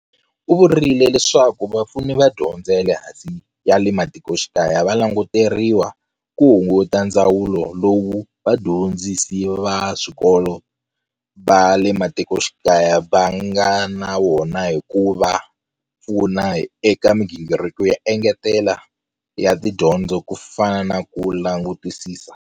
U vurile leswaku Vapfuni va Dyondzo ya le Matikoxikaya va languteriwa ku hunguta ndzhwalo lowu vadyondzi si va swikolo va le matikoxikaya va nga na wona hi ku va pfuna eka migingiriko yo engetela ya tidyondzo ku fana na ku langutisisa.